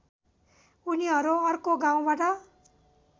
उनीहरू अर्को गाउँबाट